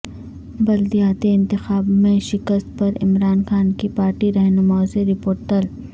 بلدیاتی انتخاب میں شکست پرعمران خان کی پارٹی رہنماوں سےرپورٹ طلب